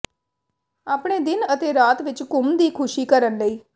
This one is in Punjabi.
ਆਪਣੇ ਦਿਨ ਅਤੇ ਰਾਤ ਵਿੱਚ ਘੁੰਮ ਦੀ ਖ਼ੁਸ਼ੀ ਕਰਨ ਲਈ